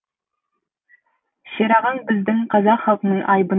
шерағаң біздің қазақ халқының айбыны еді